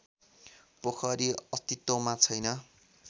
पोखरी अस्तित्वमा छैन